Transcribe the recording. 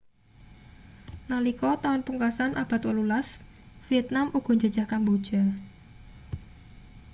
nalika taun pungkasan abad 18 vietnam uga njajah kamboja